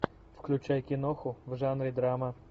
включай киноху в жанре драма